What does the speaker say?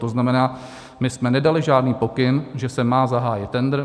To znamená, my jsme nedali žádný pokyn, že se má zahájit tendr.